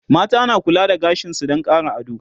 mata na kula da gashinsu Dan Ƙara ado